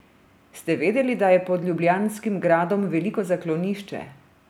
Ste vedeli, da je pod ljubljanskim gradom veliko zaklonišče?